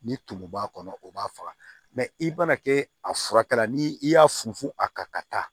Ni tumu b'a kɔnɔ o b'a faga i mana kɛ a furakɛla ni i y'a funfun a kan ka taa